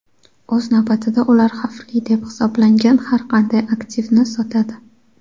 O‘z navbatida ular xavfli deb hisoblangan har qanday aktivni sotadi.